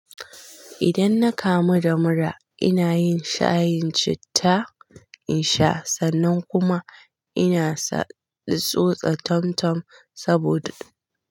Idan na kamu da mura, ina yin shayin citta in sha sannan kuma inasa in tsotsa tam-tam saboda.